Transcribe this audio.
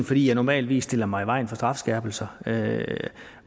fordi jeg normalt stiller mig i vejen for strafskærpelser